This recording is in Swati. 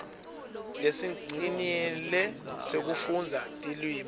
lesicinile sekufundza tilwimi